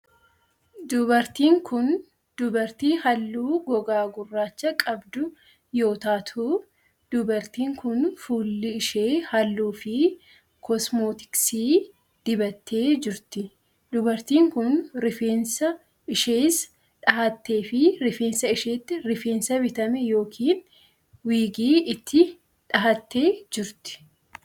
Dubartiin kun, dubartii haallu gogaa gurraacha qabdu yoo taatu, dubartiin kun fuula ishee haalluu fi kosmootiksii dibattee jirti. Dubartiin kun, rifeensa ishees dhahattee fi rifeensa isheetti rifeensa bitamee yokin wiigii itti dhahattee jirti.